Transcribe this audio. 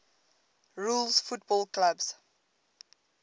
rules football clubs